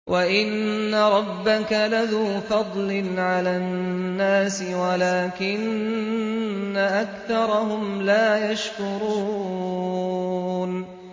وَإِنَّ رَبَّكَ لَذُو فَضْلٍ عَلَى النَّاسِ وَلَٰكِنَّ أَكْثَرَهُمْ لَا يَشْكُرُونَ